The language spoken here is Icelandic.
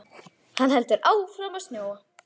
Hann heldur áfram að snjóa.